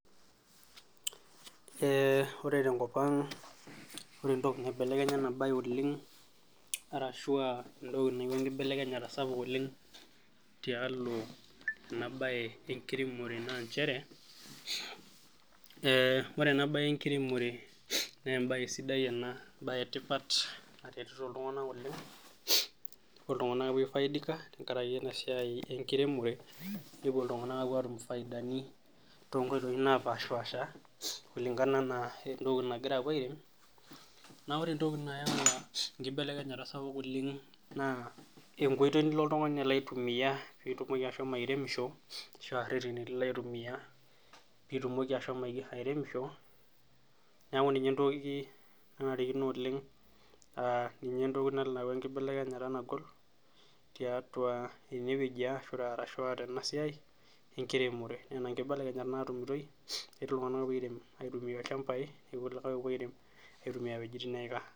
Ee ore tenkopang , ore entoki naibelekenya enabae oleng arashu entoki nayawua enkibelekenyata oleng tialoenabae enkiremore naa nchere ore enabae enkiremore nee embae sidai ena ,embae etipat , naretito iltunganak oleng, kepuo iltunganak aifaidika tenkaraki enasiai enkiremore , nepuo iltunganak atum ifaidani toonkoitoi naapashapasha kulingana anaa entoki nagira apuo airem. Naa ore entoki nayau enkibelekenyata sapuk oleng naa enkoitoi nilo oltungani alo aitumia pitumoki ashomo airemisho ashua irereni lilo aitumia pitumoki ashomo airemisho niaku ninye entoki nanarikino oleng aa ninye entoki nalo ayau enkibelekenyata nagol tiatua ene wueji aashua tenasiai enkiremore . Nena nkibelekenyat natumitoi pepuo iltunganak airem, aitumia ilchambai , nepuo irkulikae airem aitumia wuejitin neika.